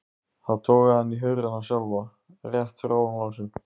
Ari fann kviðinn herpast af gamalkunnri og notalegri spennu.